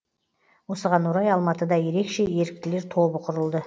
осыған орай алматыда ерекше еріктілер тобы құрылды